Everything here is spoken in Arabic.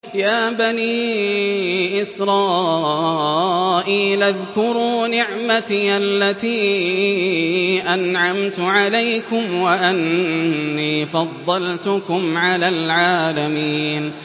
يَا بَنِي إِسْرَائِيلَ اذْكُرُوا نِعْمَتِيَ الَّتِي أَنْعَمْتُ عَلَيْكُمْ وَأَنِّي فَضَّلْتُكُمْ عَلَى الْعَالَمِينَ